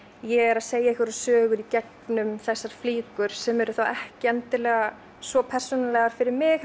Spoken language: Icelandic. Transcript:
ég er að segja einhvers sögu í gegnum þessar flíkur sem eru þá ekki endilega svo persónulegar fyrir mig